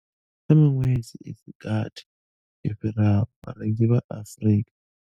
Kha miṅwedzi i si gathi yo fhiraho, vharengi vha Afrika.